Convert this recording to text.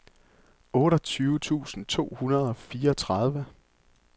otteogtyve tusind to hundrede og fireogtredive